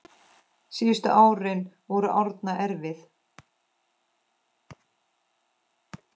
Síðustu árin voru Árna erfið.